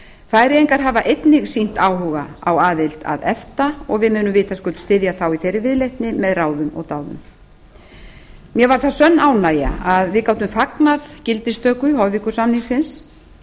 færeyingar hafa einnig sýnt áhuga á aðild að efta og við munum vitaskuld styðja þá í þeirri viðleitni með ráðum og áður mér var að sönnu ánægja að við gátum fagnað gildistöku hoyvíkur samningsins